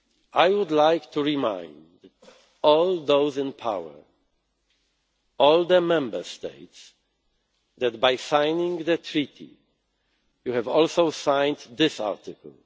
prevail. I would like to remind all those in power, all the Member States, that by signing the Treaty you have also signed this